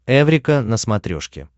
эврика на смотрешке